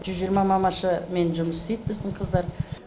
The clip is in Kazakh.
жүз жиырма мамашамен жұмыс істейт біздің қыздар